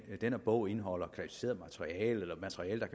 denne bog indeholder klassificeret materiale eller materiale